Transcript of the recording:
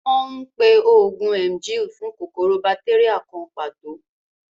Wọ́n ń pe oògùn Emgyl fún kòkòrò bátéríà kan pàtó